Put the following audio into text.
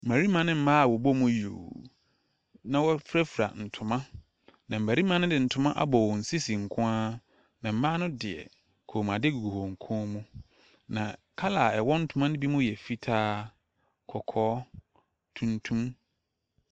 Mmarima ne mma a wɔbɔ mu yuuuu na wɔafirafira ntoma. Na mmarima no de ntoma abɔ wɔn sisi nko ara. Na mmaa nodeɛ kɔnmuade gugu wɔn kɔn mu, na colour a ɛwɔ ntoma no bi mu yɛ fitaa, kɔkɔɔ, tuntum.